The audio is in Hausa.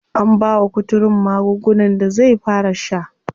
An bawa kuturun magungunan da zai fara sha.